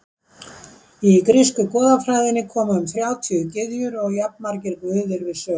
Í grísku goðafræðinni koma um þrjátíu gyðjur og jafnmargir guðir við sögu.